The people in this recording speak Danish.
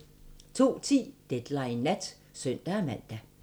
02:10: Deadline Nat (søn-man)